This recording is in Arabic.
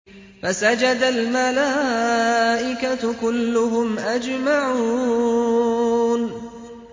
فَسَجَدَ الْمَلَائِكَةُ كُلُّهُمْ أَجْمَعُونَ